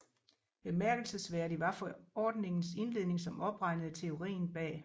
Bemærkelsesværdig var forordningens indledning som opregnede teorien bag